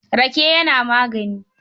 Rake yana magani.